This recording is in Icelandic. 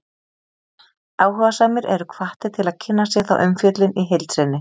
Áhugasamir eru hvattir til að kynna sér þá umfjöllun í heild sinni.